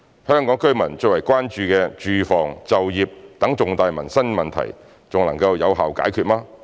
香港居民最為關注的住房、就業等重大民生問題還能有效解決嗎？